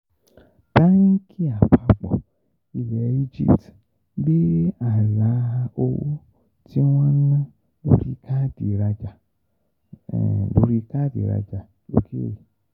Báńkì àpapọ̀ ilẹ̀ Egypt gbé ààlà owó tí wọ́n ń ná lórí káàdì ìrajà lórí káàdì ìrajà l'ókèèrè